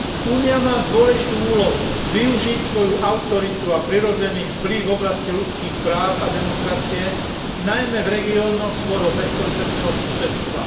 Únia má dôležitú úlohu využiť svoju autoritu a prirodzený vplyv v oblasti ľudských práv a demokracie najmä v regiónoch svojho bezprostredného susedstva.